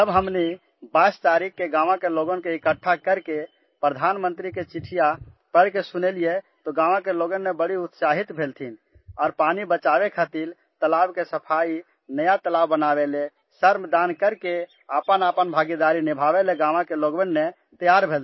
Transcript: जब हमने 22 तारीख को गाँव के लोगों को इकट्ठा करके प्रधानमंत्री कि चिट्ठी पढ़कर सुनाई तो गाँव के लोग बहुत उत्साहित हुए और पानी बचाने के लिए तालाब की सफाई और नया तालाब बनाने के लिए श्रमदान करके अपनी अपनी भागीदारी निभाने के लिए तैयार हो गए